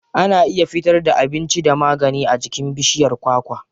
Ana iya fitar da abinci da magani a jikin bishiyar kwakwa.